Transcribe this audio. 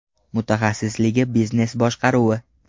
Mutaxassisligi biznes boshqaruvi.